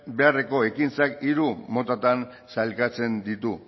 beharreko ekintzak hiru motatan sailkatzen ditu